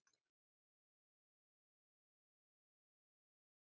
Gunnar Helgason: Eruð þið sátt með hvernig til tókst?